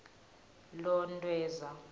lontweza